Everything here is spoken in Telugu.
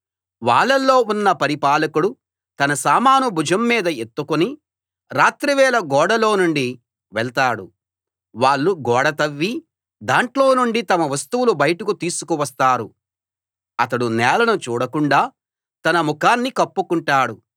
వాళ్ళలో ఉన్న పరిపాలకుడు తన సామాను భుజం మీద ఎత్తుకుని రాత్రివేళ గోడలో నుండి వెళ్తాడు వాళ్ళు గోడ తవ్వి దాంట్లో నుండి తమ వస్తువులు బయటకు తీసుకువస్తారు అతడు నేలను చూడకుండా తన ముఖాన్ని కప్పుకుంటాడు